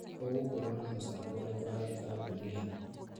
ũgũkorwo na mũchango ũrĩku harĩ kambũni ĩno?